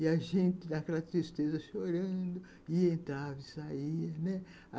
E a gente, com aquela tristeza, chorando, entrava e saía, né.